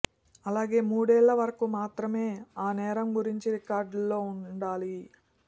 అలాగే మూడేళ్ల వరకు మాత్రమే ఆ నేరం గురించి రికార్డుల్లో ఉండాలి